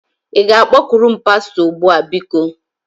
Ị ga-akpọkuru m pastọ? Ugbu a, biko!